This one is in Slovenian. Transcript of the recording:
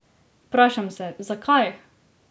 Vprašam se, zakaj?